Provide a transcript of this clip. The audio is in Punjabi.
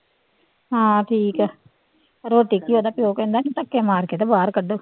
ਹਾਂ ਠੀਕ ਹੈ ਰੋਟੀ ਕੀ ਉਹਦਾ ਪਿਓ ਕਹਿੰਦਾ ਸੀ ਧੱਕੇ ਮਾਰ ਕੇ ਤਾਂ ਬਾਹਰ ਕੱਢੋ।